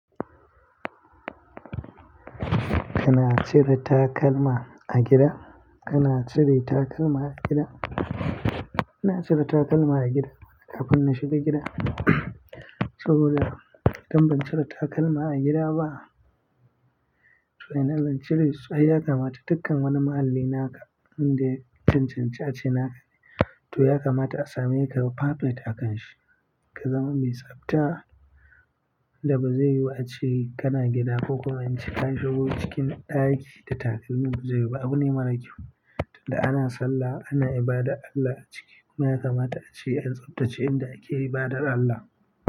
Kana cire takalma a gida? Kana cire takalma a gida? Ina cire takalma a gida kafin na shiga gida saboda idan ban cire takalma a gida ba to ina zan cire su, ai ya kamata dukkan wani muhalli na wanda ya cancanci a ce na, to ya kamata a same ka yo pafet a kanshi ka zama mai tsabta da ba zai yiwu ace kana gida ko kuma in ce an shigo cikin ɗaki da takalmin ba zai yiwu ba. Abune mara kyau tunda ana sallah ana ibada Allah a ciki. Kuma ya kamata a ce an tsabtace inda ake ibadar Allah.